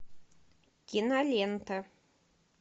кинолента